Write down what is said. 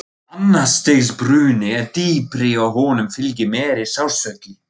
Annars stigs bruni er dýpri og honum fylgir meiri sársauki.